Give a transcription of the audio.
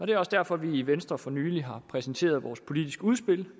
det er også derfor at vi i venstre for nylig har præsenteret vores politiske udspil